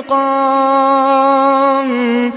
انتِقَامٍ